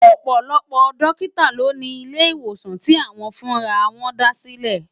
Òpòlòpò dòkitá lò ni ilé iwósán ti áwòn fún àrà wòn dásilè